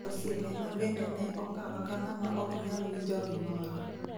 Osiepena bende ne okawa kang'ama ok nyal winjo gimoro.